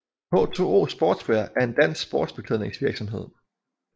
H2O Sportswear er en dansk sportsbeklædningsvirksomhed